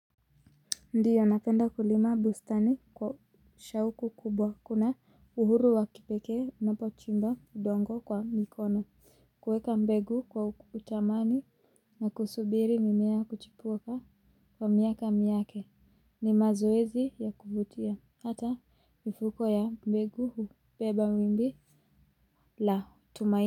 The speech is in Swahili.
Ndiyo napenda kulima bustani kwa shauku kubwa kuna uhuru wa kipekee ninapochimba udongo kwa mikono kuweka mbegu kwa utamani na kusubiri mimea kuchipuka kwa miaka miake ni mazoezi ya kuvutia hata mifuko ya mbegu hubeba wimbi la tumaini.